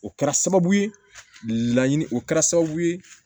O kɛra sababu ye laɲini o kɛra sababu ye